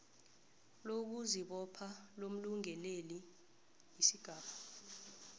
lokuzibopha lomlungeleli isigaba